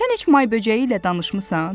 Sən heç may böcəyi ilə danışmısan?